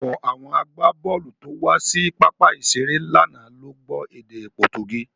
Ọ̀pọ̀ àwọn agbábọ̀ọ̀lù tó wá sí pápá ìṣeré lánàá ló gbọ́ èdè Pọtugí.